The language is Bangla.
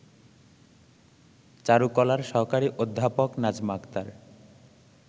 চারুকলার সহকারী অধ্যাপক নাজমা আক্তার